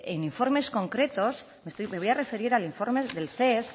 en informes concretos me voy a referir al informe del ces